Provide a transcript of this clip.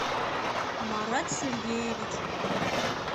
марат сергеевич